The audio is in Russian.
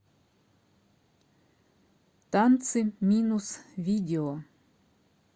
танцы минус видео